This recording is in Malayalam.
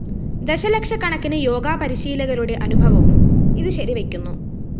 ദശലക്ഷക്കണക്കിന് യോഗ പരിശീലകരുടെ അനുഭവവും ഇത് ശരിവെയ്ക്കുന്നു